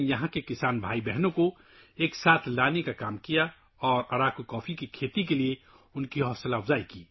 اس نے یہاں کے کسان بھائیوں اور بہنوں کو اکٹھا کرنے کا کام کیا اور انہیں اراکو کافی کاشت کرنے کی ترغیب دی